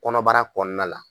Kɔnɔbara kɔɔna la